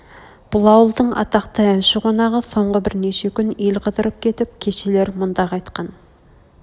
бұл ауылдың атақты әнші қонағы соңғы бірнеше күн ел қыдырып кетіп кешелер мұнда қайтқан